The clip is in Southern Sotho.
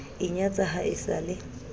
inyatsa ha e sa le